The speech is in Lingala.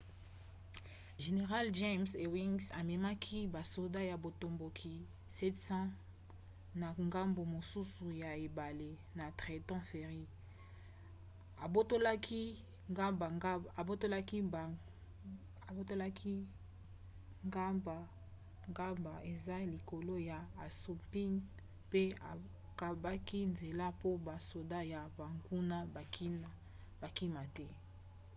general james ewing amemaki basoda ya botomboki 700 na ngambo mosusu ya ebale na trenton ferry abotolaka gbagba eza likolo ya assunpink pe akangaki nzela mpo basoda ya banguna bakima te